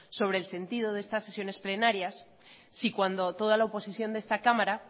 sobre el sentido de estas sesiones plenarias si cuando toda la oposición de esta cámara